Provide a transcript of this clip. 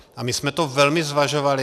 A my jsme to velmi zvažovali.